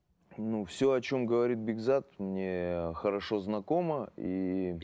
ну все о чем говорит бекзат мне хорошо знакомо и